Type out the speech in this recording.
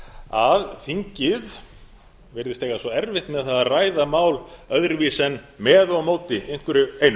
að þingið virðist eiga svo erfitt með að ræða mál öðruvísi en með og á móti einhverju einu